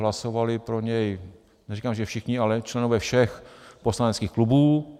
Hlasovali pro něj, neříkám že všichni, ale členové všech poslaneckých klubů.